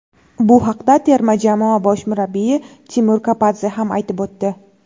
Bu haqda terma jamoa bosh murabbiyi Timur Kapadze ham aytib o‘tdi.